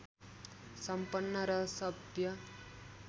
सम्पन्न र सभ्य